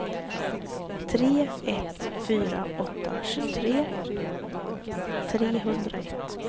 tre ett fyra åtta tjugotre trehundraett